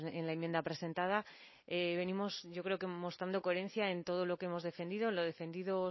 en la enmienda presentada venimos yo creo mostrando coherencia en todo lo que hemos defendido lo defendido